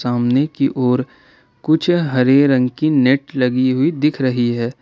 सामने की ओर कुछ हरे रंग की नेट लगी हुई दिख रही है।